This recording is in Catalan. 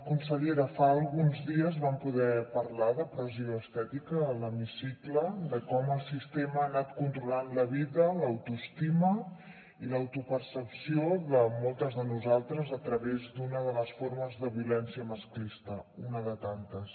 consellera fa alguns dies vam poder parlar de pressió estètica a l’hemicicle de com el sistema ha anat controlant la vida l’autoestima i l’autopercepció de moltes de nosaltres a través d’una de les formes de violència masclista una de tantes